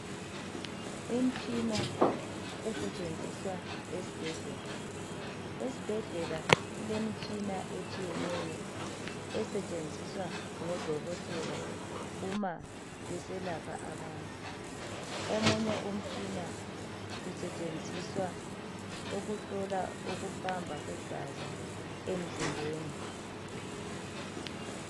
Imitshina esetshenziswa esibhedlela. Esibhedlela kulemitshina etshiyeneyo esetshenziswa ngo Dokotela uma beselapha abantu. Omunye umtshina usetshenziswa ukuhlola ukuhamba kwegazi emzimbeni.